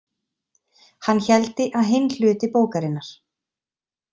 Hann héldi að hinn hluti bókarinnar.